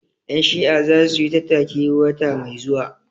Ƴan Shi'a za su yi tattaki wata mai zuwa